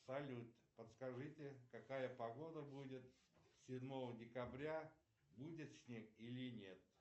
салют подскажите какая погода будет седьмого декабря будет снег или нет